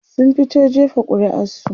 sun fito jefa ƙuri'ar su